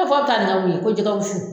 A fɔ aw bɛ taa nin kɛ mun ye ko jɛgɛ wusu